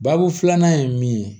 Babu filanan ye min ye